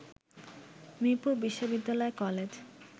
মিরপুর বিশ্ববিদ্যালয় কলেজ